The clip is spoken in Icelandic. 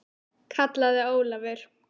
kallaði Ólafur.